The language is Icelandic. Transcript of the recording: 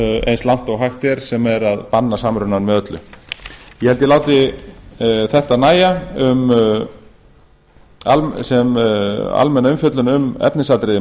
eins langt og hægt er sem er að banna samrunann með öllu ég held að ég láti þetta nægja sem almenna umfjöllun um efnisatriði